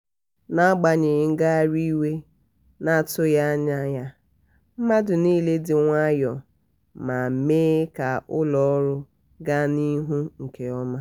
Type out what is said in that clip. n’agbanyeghị ngagharị iwe na-atụghị anya ya mmadụ niile dị nwayọ ma mee ka ụlọ ọrụ ga n’ihu nke ọma.